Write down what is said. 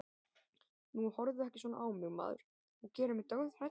Nú, horfðu ekki svona á mig maður, þú gerir mig dauðhrædda.